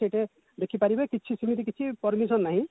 ସେଠି ଦେଖିପାରିବେ କିଛି ସେମିତି କିଛି permission ନାହିଁ